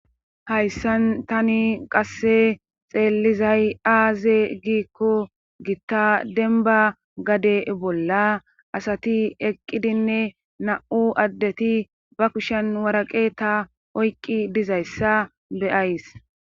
Hayssan tani qasse xeellizay aaze giikko gitta dembba gade bolla asati eqqidinne na7u addeti ba kushen waraqeeta oyqqi dizayssa be7ays.